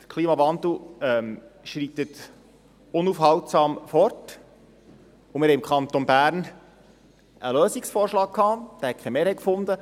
Der Klimawandel schreitet unaufhaltsam voran, und wir hatten im Kanton Bern einen Lösungsvorschlag, der keine Mehrheit fand.